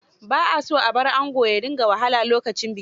Ba a son a br ango ya dinga wahala lokacin biki.